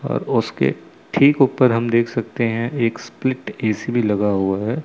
और उसके ठीक ऊपर हम देख सकते हैं एक स्प्लिट ए_सी भी लगा हुआ है।